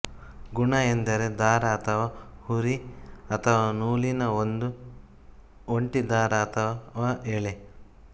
ಗುಣ ಎಂದರೆ ದಾರ ಅಥವಾ ಹುರಿ ಅಥವಾ ನೂಲಿನ ಒಂದು ಒಂಟಿ ದಾರ ಅಥವಾ ಎಳೆ